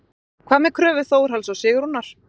Magnús: Hvað með kröfu Þórhalls og Sigrúnar?